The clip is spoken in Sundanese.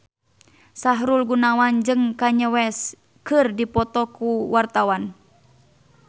Sahrul Gunawan jeung Kanye West keur dipoto ku wartawan